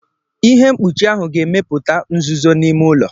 Ihe mkpuchi ahụ ga-emepụta nzuzo n'ime ụlọ.